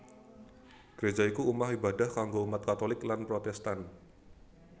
Greja iku omah ibadah kanggo umat Katholik lan Protestan